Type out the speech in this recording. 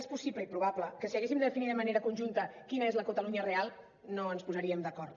és possible i probable que si haguéssim de definir de manera conjunta quina és la catalunya real no ens posaríem d’acord